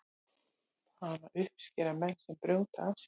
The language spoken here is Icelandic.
hana uppskera menn sem brjóta af sér